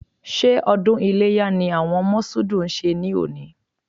Ṣé ọdún iléyá ni àwọn Mọ̀ṣúùdù ń ṣe lónìí?